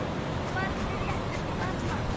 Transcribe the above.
og barnið réttir út arma